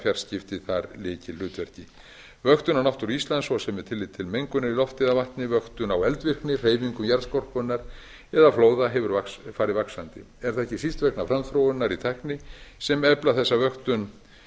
fjarskipti þar lykilhlutverki vöktun á náttúru íslands svo sem með tilliti til mengunar í lofti eða vatni vöktun á eldsneyti hreyfingu jarðskorpunnar eða bjóða hefur farið vaxandi er það ekki síst vegna framþróunar í tækni sem efla þessa vöktun